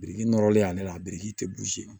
Biriki nɔrɔlen y'ale la a biriki tɛ